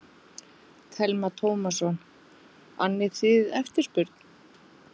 Telma Tómasson: Annið þið eftirspurn?